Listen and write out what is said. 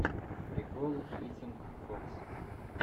прикол итинг фокс